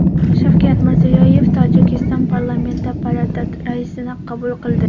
Shavkat Mirziyoyev Tojikiston parlamenti palata raisini qabul qildi .